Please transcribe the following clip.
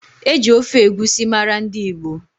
E ji ofe egusi mara ndị Igbo.